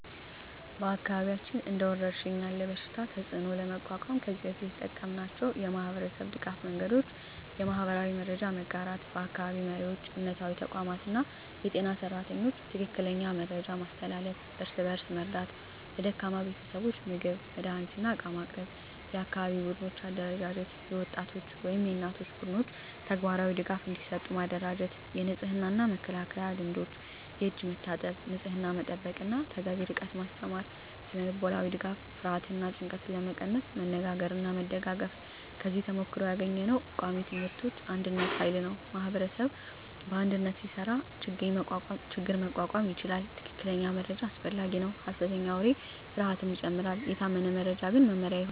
በአካባቢያችን እንደ ወረሽኝ ያለ በሽታ ተፅዕኖ ለመቋቋም ከዚህ በፊት የተጠቀምናቸው የማህበረሰብ ድገፍ መንገዶች :- የማህበራዊ መረጃ መጋራት በአካባቢ መሪዎች፣ እምነታዊ ተቋማት እና የጤና ሰራተኞች ትክክለኛ መረጃ ማስተላለፍ። እርስ በእርስ መርዳት ለደካማ ቤተሰቦች ምግብ፣ መድሃኒት እና ዕቃ ማቅረብ። የአካባቢ ቡድኖች አደራጀት የወጣቶች ወይም የእናቶች ቡድኖች ተግባራዊ ድጋፍ እንዲሰጡ ማደራጀት። የንጽህና እና መከላከያ ልምዶች የእጅ መታጠብ፣ ንጽህና መጠበቅ እና ተገቢ ርቀት ማስተማር። ስነ-ልቦናዊ ድጋፍ ፍርሃትን እና ጭንቀትን ለመቀነስ መነጋገርና መደጋገፍ። ከዚህ ተሞክሮ ያገኘነው ቃሚ ትምህርቶች አንድነት ኃይል ነው ማኅበረሰብ በአንድነት ሲሰራ ችግኝ መቋቋም ይቻላል። ትክክለኛ መረጃ አስፈላጊ ነው ሐሰተኛ ወሬ ፍርሃትን ይጨምራል፤ የታመነ መረጃ ግን መመሪያ ይሆናል።